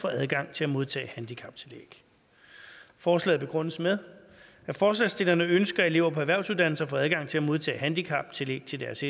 får adgang til at modtage handicaptillæg forslaget begrundes med at forslagsstillerne ønsker at elever på erhvervsuddannelserne får adgang til at modtage handicaptillæg til deres